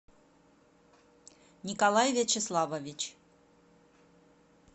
николай вячеславович